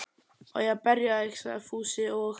Á ég að berja þig? sagði Fúsi og